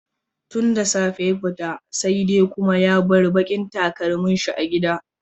Tun da safe ya fita, sai dai kuma ya bar bakin takalminsa a gida.